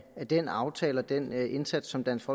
af den aftale og den indsats som dansk